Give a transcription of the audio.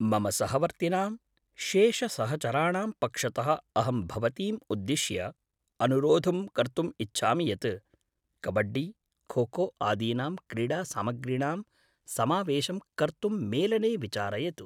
मम सहवर्तिनां शेषसहचराणां पक्षतः अहं भवतीम् उद्दिश्य अनुरोधं कर्तुम् इच्छामि यत् कबड्डी, खोखो आदीनां क्रीडासामग्रीणां समावेशं कर्तुं मेलने विचारयतु।